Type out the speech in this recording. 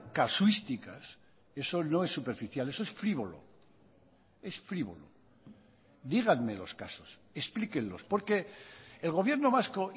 casuísticas eso no es superficial eso es frívolo es frívolo díganme los casos explíquenlos porque el gobierno vasco